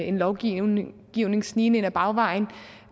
en lovgivning snigende snigende ind ad bagvejen